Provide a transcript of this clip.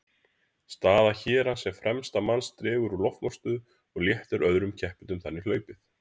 Staða hérans sem fremsta manns dregur úr loftmótstöðu og léttir öðrum keppendum þannig hlaupið.